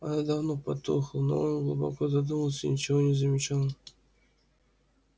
она давно потухла но он глубоко задумался и ничего не замечал